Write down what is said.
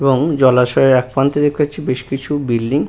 এবং জলাশয়ের একপ্রান্তে দেখতে পাচ্ছি বেশ কিছু বিল্ডিং ।